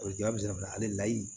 A bɛ ja bɛ se ka hali layi